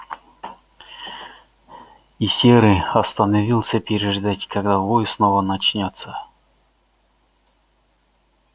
и серый остановился переждать когда вой снова начнётся